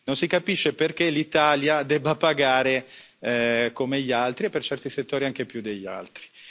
Non si capisce perché l'Italia debba pagare come gli altri e per certi settori anche più degli altri.